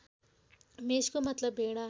मेषको मतलब भेडा